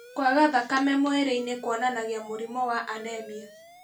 Kwaga thakame mwĩrĩ-inĩ kũonanagia mũrimũ wa anemia